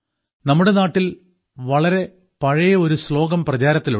നമ്മുടെ നാട്ടിൽ വളരെ പഴയ ഒരു ശ്ലോകം പ്രചാരത്തിലുണ്ട്